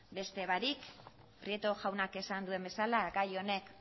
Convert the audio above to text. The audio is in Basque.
beste barik prieto jaunak esan duen bezala gai